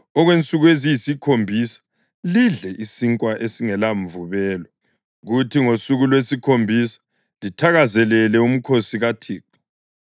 Okwensuku eziyisikhombisa lidle isinkwa esingelamvubelo kuthi ngosuku lwesikhombisa lithakazelele umkhosi kaThixo;